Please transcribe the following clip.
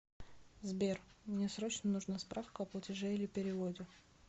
сбер мне срочно нужна справка о платеже или переводе